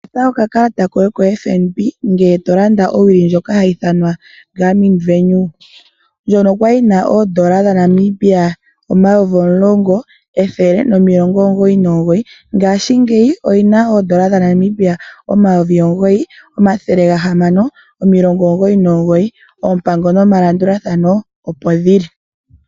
Kutha okakalata koye ko FNB ngele tolanda owili ndjoka hayi ithanwa Garmin Venue ndjono kwali yina $10199 ngaashingeyi oyina $9699 oompango nomalandulathano opo dhili.